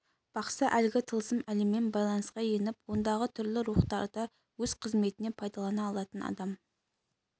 бақсы әлгі тылсым әлеммен байланысқа еніп ондағы түрлі рухтарды өз қызметіне пайдалана алатын адам